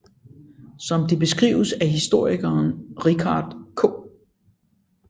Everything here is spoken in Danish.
Som det beskrives af historikeren Richard K